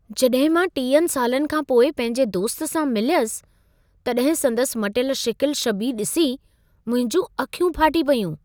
जॾहिं मां 30 सालनि खां पोइ पंहिंजे दोस्त सां मिलियसि, तॾहिं संदसि मटियल शिकिल शबीह ॾिसी मुंहिंजूं अखियूं फाटी पयूं।